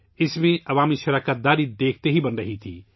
اس میں عوام کی بھر پور شرکت دیکھی جا رہی تھی